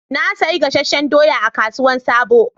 Na sayi gasasshen doyan a kasuwan sabo